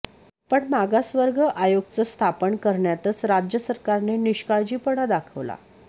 पण मागासवर्ग आयोगच स्थापन करण्यातच राज्य सरकारने निष्काळजीपणा दाखवला